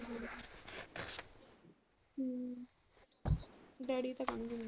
Daddy ਤਾਂ .